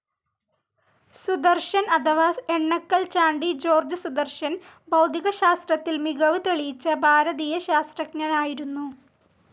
സുദർശൻ അഥവാ എണ്ണക്കൽ ചാണ്ടി ജോർജ് സുദർശൻ ഭൗതികശാസ്ത്രത്തിൽ മികവ് തെളിയിച്ച ഭാരതീയ ശാസ്ത്രജ്ഞനായിരുന്നു.